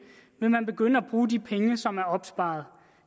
vil man begynde at bruge de penge som er opsparet